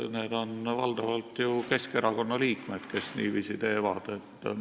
Need on valdavalt ju Keskerakonna liikmed, kes niiviisi teevad.